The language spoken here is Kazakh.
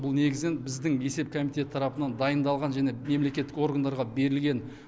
бұл негізінен біздің есеп комитеті тарапынан дайындалған және мемлекеттік органдарға берілген